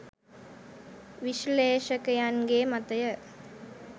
විශ්ලේෂකයන්ගේ මතය.